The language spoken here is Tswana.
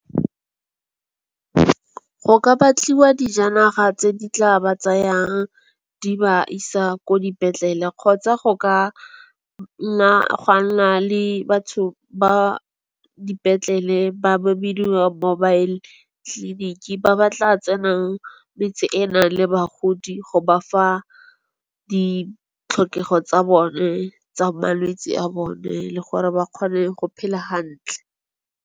Go ka batliwa dijanaga tse di tla ba tsayang di ba isa ko dipetlele, kgotsa go ka nna gwa nna le batho ba dipetlele ba ba bidiwang mobile tleliniki. Ba ba tla tsenang metse e enang le bagodi, go ba fa ditlhokego tsa bone tsa malwetse a bone le gore ba kgone go phela hantle.